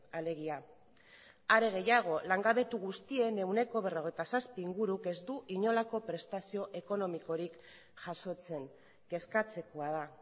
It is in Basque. alegia are gehiago langabetu guztien ehuneko berrogeita zazpi inguruk ez du inolako prestazio ekonomikorik jasotzen kezkatzekoa da